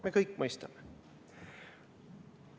Me kõik mõistame!